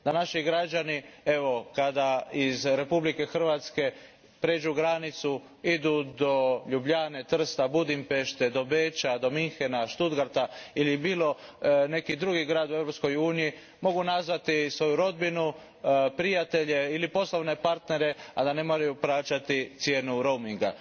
Naši građani kada iz Republike Hrvatske pređu granicu i odu do Ljubljane, Trsta, Budimpešte, Beča, Münchena, Stuttgarta ili u bilo neki drugi grad u Europskoj uniji mogu nazvati svoju rodbinu, prijatelje ili poslovne partnere, a da ne moraju plaćati cijenu roaminga.